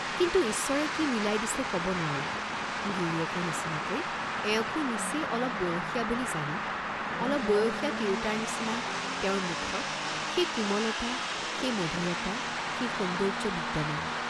কিন্তু ঈশ্বৰে কি মিলাই দিছে কব নোৱাৰি, গিৰীয়েকৰ নিচিনাকৈ এওঁকো নিচেই অলপ বয়সীয়া বুলি জানি, অলপ বয়সীয়া তিৰুতাৰ নিচিনা তেওঁৰ মুখত সেই কোমলতা, সেই মধুৰতা, সেই সৌন্দৰ্য্য বিদ্যমান।